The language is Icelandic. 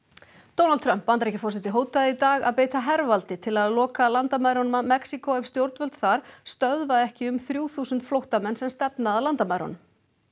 Donald Trump Bandaríkjaforseti hótaði í dag að beita hervaldi til að loka landamærunum að Mexíkó ef stjórnvöld þar stöðva ekki um þrjú þúsund flóttamenn sem stefna að landamærunum